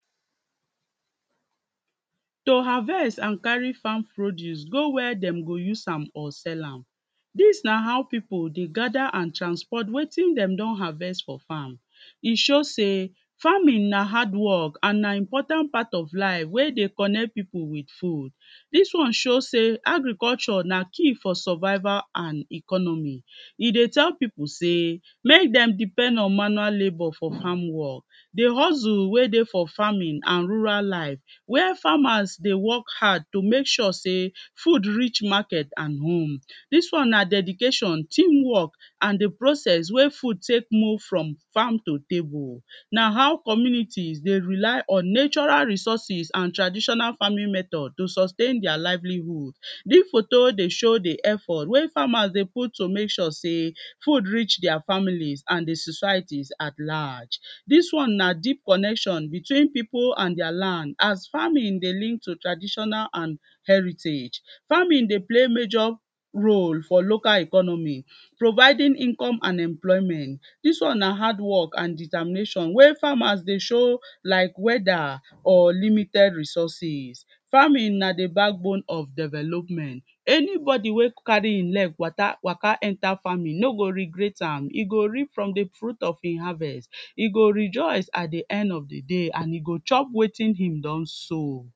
To harvesto or carry farm produce go where dem go use am or sell am Dis na how people dey gather and transport wetin dem don harvest for farm E show sey farming na jhardwork and na important part of life wey dey connect people with food Dis one show sey agriculture na key for survival and economy E dey people sey make dem depend on manure labour for farm work Di hustle wey dey for for farming and rural life where farmers dey work hard to make sure sey food reach market and home. Dis one na dedication, teamwork and di process wey food take move from farm to table na how communities dey rely on natural resources and traditional farming method to sustain their livelihood Di foto wey dey show di effort wey farmers dey put to make sure sey food reach their families and di society at large Dis one na deep connection between people and their land as farming dey lead to traditonal and heritage. Farming dey play major role for local economy providing income and employment. Dis one hardwork and determination wey farmers dey show like weather or limited resources. Farming na di backbone of development Any body wey carry e leg waka enter farming no go regret am. E go reap from di fruit of im harvest E go rejoice at di end of di day and e go chop wetin im don sow